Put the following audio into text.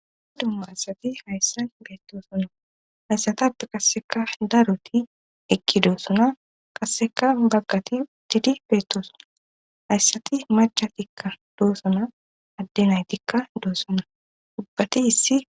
dumma asati hayssa beettoosona hayssatappe qasseka daroti ekkidoosona qasseka baggati didi beettoosonan hayssati macatikka doossona addenaytikka doosonna ubbati issi